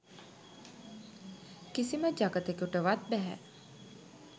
කිසිම ජගතෙකුටවත් බැහැ.